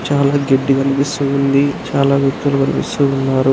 చాలా గడ్డి కనిపిస్తుంది. చాలా వ్యక్తులు కనిపిస్తూ ఉన్నారు.